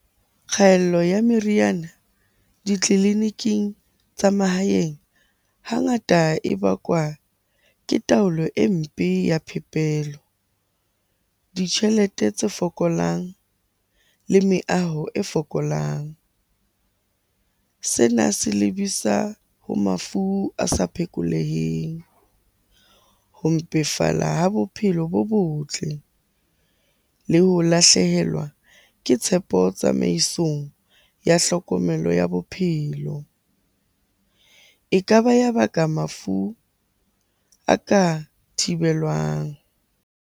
Kgaello ya meriana ditleliniking tsa mahaeng, hangata e bakwa ke taolo e mpe ya phepelo, ditjhelete tse fokolang le meaho e fokolang. Sena se lebisa ho mafu a sa phekoleheng, ho mpefala ho bophelo bo botle le ho lahlehelwa ke tshepo tsamaisong ya hlokomelo ya bophelo. E kaba ya baka mafu a ka thibelwang.